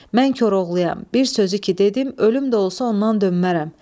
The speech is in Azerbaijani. Mən Koroğluyam, bir sözü ki dedim, ölüm də olsa ondan dönmərəm.